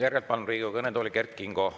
Järgnevalt palun Riigikogu kõnetooli Kert Kingo.